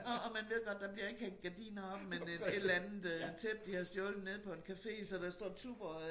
Og og man ved godt der bliver ikke hængt gardiner op men øh et eller andet øh tæppe de har stjålet nede på en café så der står Tuborg øh